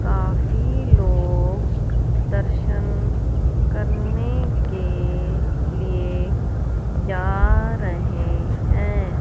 काफी लोग दर्शन करने के लिए जा रहे हैं।